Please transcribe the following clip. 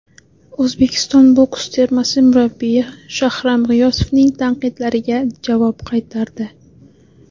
O‘zbekiston boks termasi murabbiyi Shahram G‘iyosovning tanqidlariga javob qaytardi !